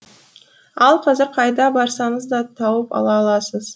ал қазір қайда барсаңызда тауып ала аласыз